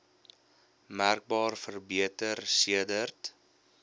merkbaar verbeter sedert